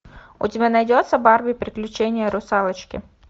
у тебя найдется барби приключения русалочки